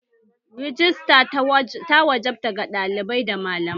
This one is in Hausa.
Rajista ta wajaba ga ɗalibai da malamai